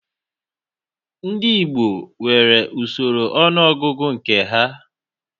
Ndị Igbo nwere usoro ọnụọgụgụ nke ha